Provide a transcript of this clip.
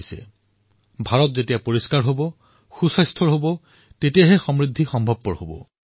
যেতিয়া ভাৰত স্বচ্ছ হব সুস্থ হব তেতিয়াই ভাৰত সমৃদ্ধ হব